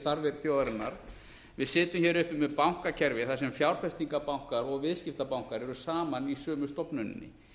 þarfir þjóðarinnar við sitjum hér uppi með bankakerfi þar sem fjárfestingarbanka og viðskiptabankar eru saman í sömu stofnuninni